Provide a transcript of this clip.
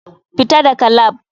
Fita daga lab.